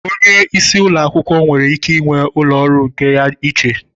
Onye isi ụlọ akwụkwọ nwere ike ịnwe ụlọ ọrụ nke ya iche.